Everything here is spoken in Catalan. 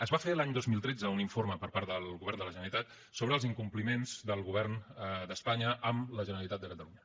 es va fer l’any dos mil tretze un informe per part del govern de la generalitat sobre els incompliments del govern d’espanya amb la generalitat de catalunya